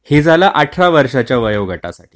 हे झाला अठरा वर्षाच्या वयोगटातील लोकांसाठी